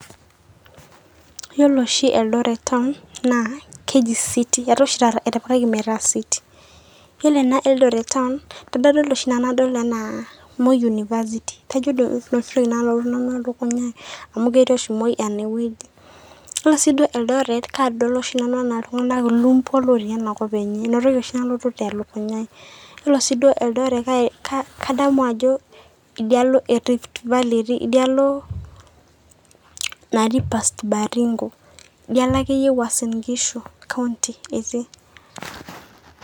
Iyo oshi eldoret town naa keji city naa ore eldoret kadol enaa ilumpua looti ina kop naa kadamu ajo riftvalley etiii